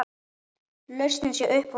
Lausnin sé uppboð á kvóta.